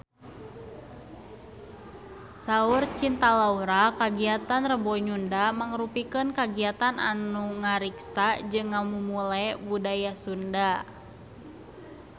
Saur Cinta Laura kagiatan Rebo Nyunda mangrupikeun kagiatan anu ngariksa jeung ngamumule budaya Sunda